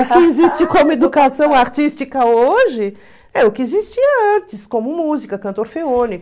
O que existe como educação artística hoje é o que existia antes, como música, canto orfeônico